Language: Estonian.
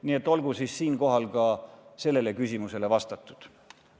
Nii et olgu siinkohal ka sellele küsimusele vastatud.